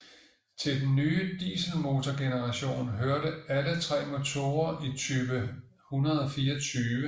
Til den nye dieselmotorgeneration hørte alle tre motorer i type 124